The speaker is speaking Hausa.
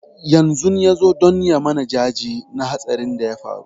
Yanzun nan ya zo don ya mana jaje na hatsarin da ya faru